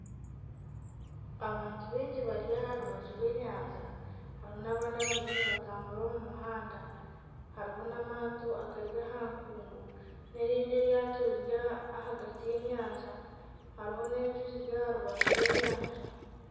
Abantu baingi bari aha rubaju rw'enyanja. Harimu n'abandi abariyo nibatambura omu muhanda. Hariho n'amaato agari aha nkungu n'erindi eryato riri ahagati y'enyanja, hariho n'enju eziri aha rubaju rw'enyanja.